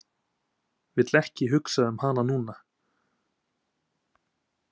Vill ekki hugsa um hana núna.